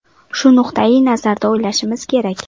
Shu nuqtai nazardan o‘ylashimiz kerak.